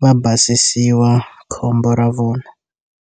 va basisiwa khombo ra vona.